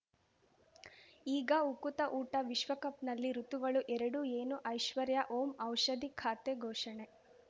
ಈಗ ಉಕುತ ಊಟ ವಿಶ್ವಕಪ್‌ನಲ್ಲಿ ಋತುಗಳು ಎರಡು ಏನು ಐಶ್ವರ್ಯಾ ಓಂ ಔಷಧಿ ಖಾತೆ ಘೋಷಣೆ